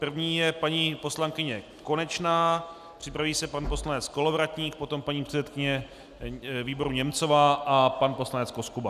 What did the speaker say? První je paní poslankyně Konečná, připraví se pan poslanec Kolovratník, potom paní předsedkyně výboru Němcová a pan poslanec Koskuba.